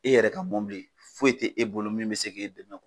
E yɛrɛ ka foyi t'e bolo min bɛ se k'e dɛmɛ